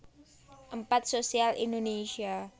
Empat Sosial Indonesia